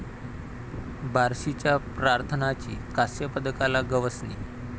बार्शीच्या प्रार्थनाची कास्यपदकाला गवसणी